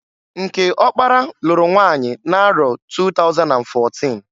Nke ọkpara lụrụ nwanyi n'arọ 2014.